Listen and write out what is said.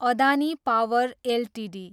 Adani power Ltd